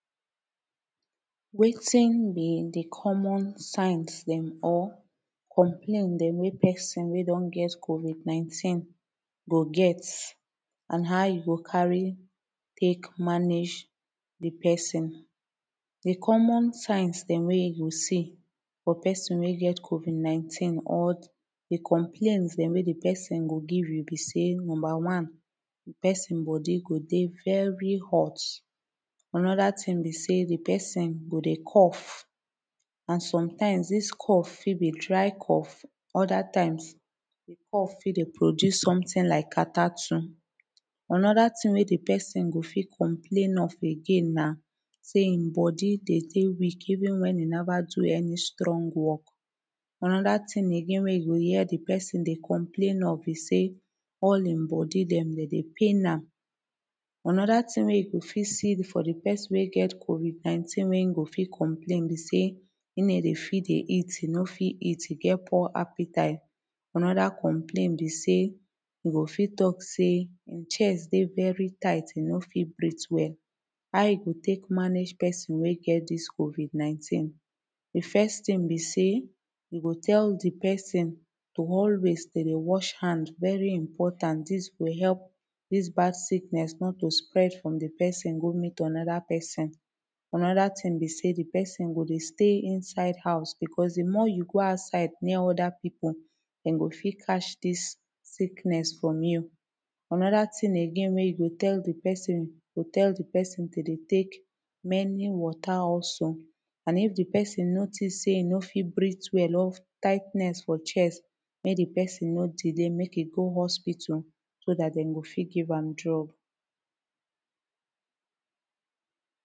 Wetin be de common signs dem or complains dem mek person wey don get COVID 19 go get and how e go carry tek mange the person. De common signs dem wey you go see for person wey get covid 19 or de complains dem wey de person go give you be say number one de person body go dey very hot anoda tin be say de person go dey cough an sometimes dis cough fit be dry cough other times de cough fit dey produce sometin like catarrh too anoda tin wey de person go fit complain of again na seh him body dey day weak even when e never do any strong work Anoda tin again wey you go hear de person dey complain of be say all him body dem dem dey pain am Anoda tin wey you go fit see for de person wey get COVID 19 wey him go fit complain be say e no dey fit dey eat e no fit eat he get poor appetite. Anoda complain be say he go fit talk say chest dey very tight e no fit breath well How you go take manage person wey get this COVID 19 de first tin be say you go tell de person to always to dey wash hand very important dis go help dis bad sickness not to spread from the person go meet another person. Another tin be say the person go dey stay inside house becos tde more you go outside near other people dem go fit catch this sickness from you. Anoda tin again wey you go tell de person you go tell de pesin to dey tek many wata also and if de person notice say him no fit breath well or tightness for chest mek de person no delay mek e go hospital so dat dem go fit give am drugs